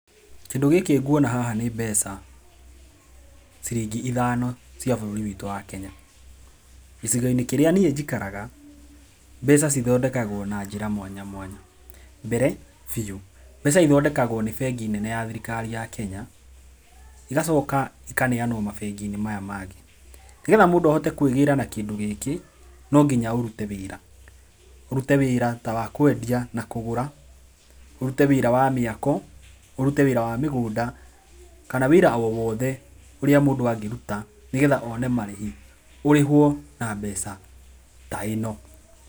Kĩndũ gĩkĩ ngwona haha, nĩ mbeca ciringi ithano cia bũrũri witũ wa Kenya. Gĩcigo-inĩ kĩrĩa niĩ njikaraga, mbeca ci thondekagwo na njĩra mwanya mwanya. Mbere biũ mbeca ithondekagwo nĩ bengi nene ya thirikari ya Kenya, igacoka ikaneanwo mabengi-inĩ maya mangĩ, nĩgetha mũndũ ahote kwĩgĩra na kĩndũ gĩkĩ no nginya ũrute wĩra, ũrute wĩra ta wakwendia na kũgũra, ũrute wĩra wa mĩako, ũrute wĩra wa mĩgũnda, kana wĩra o wothe ũrĩa mũndũ angĩruta, nĩgetha one marĩhi, ũrĩhwo na mbeca ta ĩno.